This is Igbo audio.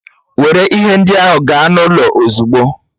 Were ihe ndị ahụ gaa n'ụlọ ozugbo!